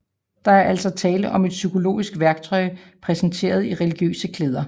Der er altså tale om et psykologisk værktøj præsenteret i religiøse klæder